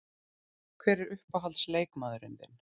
Hver er uppáhalds leikmaður þinn?